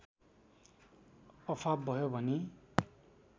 अफाप भयो भनी